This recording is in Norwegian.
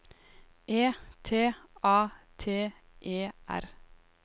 E T A T E R